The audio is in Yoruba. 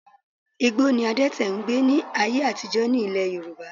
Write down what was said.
Igbó ni adẹ́tè n gbé ní ayé àtijọ́ ní Ilẹ̀ Yorùbá